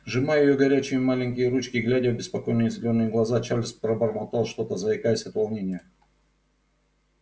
сжимая её горячие маленькие ручки глядя в беспокойные зелёные глаза чарлз пробормотал что-то заикаясь от волнения